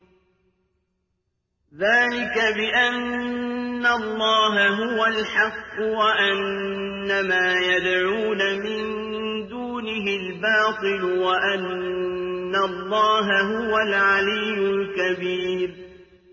ذَٰلِكَ بِأَنَّ اللَّهَ هُوَ الْحَقُّ وَأَنَّ مَا يَدْعُونَ مِن دُونِهِ الْبَاطِلُ وَأَنَّ اللَّهَ هُوَ الْعَلِيُّ الْكَبِيرُ